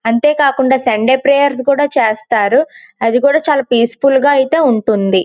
అంతే కాకుండా Sunday prayers కూడా చేస్తారు. అది కూడా అయితే చాలా పీస్ ఫుల్ గా ఉంటుంది.